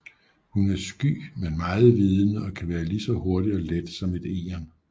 Hun er sky men meget vidende og kan være lige så hurtig og let som et egern